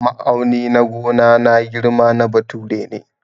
Ma'auni na gona na girma na bature ne.